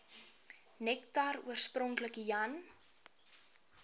nektar oorspronklik jan